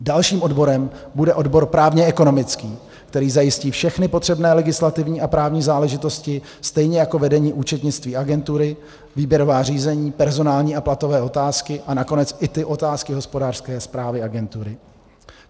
Dalším odborem bude odbor právně-ekonomický, který zajistí všechny potřebné legislativní a právní záležitosti stejně jako vedení účetnictví agentury, výběrová řízení, personální a platové otázky a nakonec i ty otázky hospodářské správy agentury.